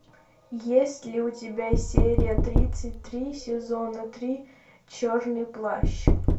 есть ли у тебя серия тридцать три сезона три черный плащ